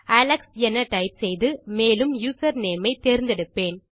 Alex என type செய்து மேலும் யூசர்நேம் ஐ தேர்ந்தெடுப்பேன்